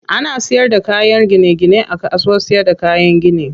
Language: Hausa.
Ana siyar da kayan gine gine a kasuwar siyarda kayan gini.